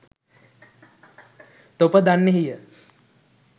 තොප දන්නෙහිය.